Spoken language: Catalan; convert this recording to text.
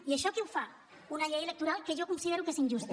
i això què ho fa una llei electoral que jo considero que és injusta